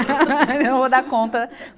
Eu não vou dar conta.